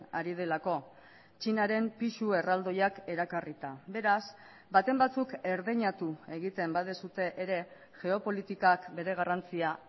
ari delako txinaren pisu erraldoiak erakarrita beraz baten batzuk erdeinatu egiten baduzue ere geopolitikak bere garrantzia